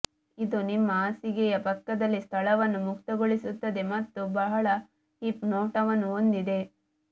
ಇದು ನಿಮ್ಮ ಹಾಸಿಗೆಯ ಪಕ್ಕದಲ್ಲಿ ಸ್ಥಳವನ್ನು ಮುಕ್ತಗೊಳಿಸುತ್ತದೆ ಮತ್ತು ಬಹಳ ಹಿಪ್ ನೋಟವನ್ನು ಹೊಂದಿದೆ